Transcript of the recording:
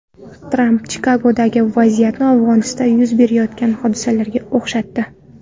Tramp Chikagodagi vaziyatni Afg‘onistonda yuz berayotgan hodisalarga o‘xshatdi.